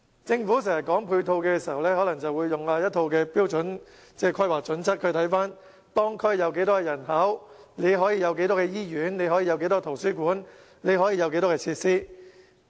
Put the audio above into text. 政府說到配套，經常引用一套標準的規劃準則，考慮當區有多少人口，從而興建多少間醫院、多少個圖書館，設置多少設施。